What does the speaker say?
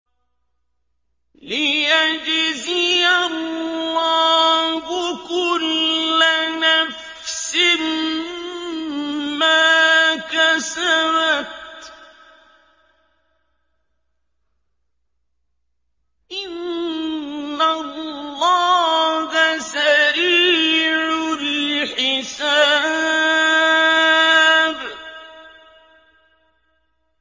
لِيَجْزِيَ اللَّهُ كُلَّ نَفْسٍ مَّا كَسَبَتْ ۚ إِنَّ اللَّهَ سَرِيعُ الْحِسَابِ